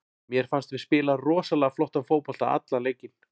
Mér fannst við spila rosalega flottan fótbolta allan leikinn.